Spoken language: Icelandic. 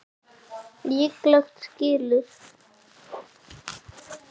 Líklega skilur